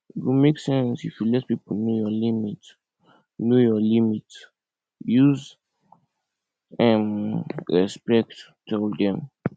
e go make sense if you let pipo know your limit know your limit use um respect tell dem